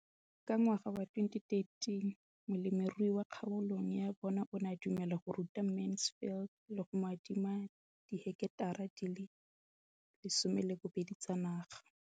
Ka ngwaga wa 2013, molemirui mo kgaolong ya bona o ne a dumela go ruta Mansfield le go mo adima di heketara di le 12 tsa naga.